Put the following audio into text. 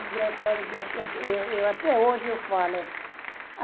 Engraçado que eu eu eu até hoje eu falo.